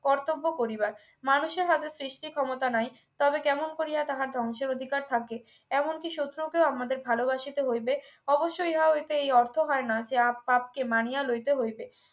কর্তব্য করিবার মানুষের হাতে সৃষ্টির ক্ষমতা নাই তাহলে কেমন করিয়া তাহার ধ্বংসের অধিকার থাকে এমনকি শত্রুকেও আমাদের ভালোবাসিতে হইবে অবশ্যই ইহা হইতে এই অর্থ হয় না যে আপ আপকে মানিয়া লইতে হইবে